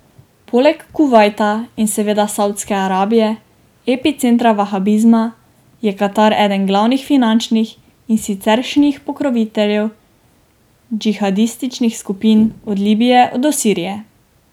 Poleg Kuvajta in seveda Savdske Arabije, epicentra vahabizma, je Katar eden glavnih finančnih in siceršnjih pokroviteljev džihadističnih skupin, od Libije do Sirije.